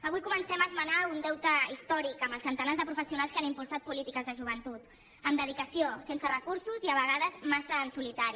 avui comencem a esmenar un deute històric amb els centenars de professionals que han impulsat polítiques de joventut amb dedicació sense recursos i a vegades massa en solitari